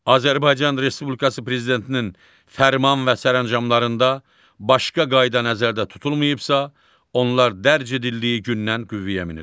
Azərbaycan Respublikası prezidentinin fərman və sərəncamlarında başqa qayda nəzərdə tutulmayıbsa, onlar dərc edildiyi gündən qüvvəyə minir.